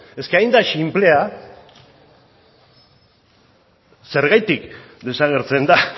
es que hain da sinplea zergatik desagertzen da